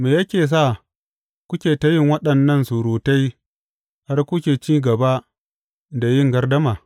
Me yake sa kuke ta yin waɗannan surutai har kuke cin gaba da yin gardama?